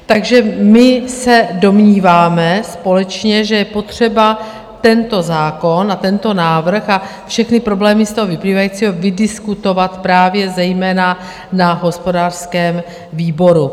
Takže my se domníváme společně, že je potřeba tento zákon a tento návrh a všechny problémy z toho vyplývající vydiskutovat právě zejména na hospodářském výboru.